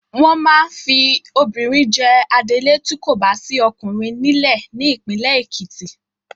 Wọ́n máa fi obìnrin jẹ adelé tí kò bá sí ọkùnrin nílẹ̀ ní ìpínlẹ̀ Ekiti.